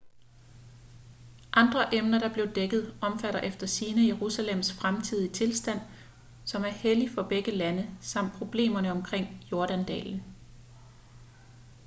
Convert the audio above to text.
andre emner der blev dækket omfatter efter sigende jerusalems fremtidige tilstand som er hellig for begge lande samt problemerne omkring jordandalen